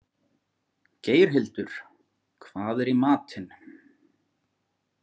Geirhildur, hvað er í matinn?